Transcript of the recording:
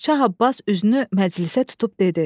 Şah Abbas üzünü məclisə tutub dedi: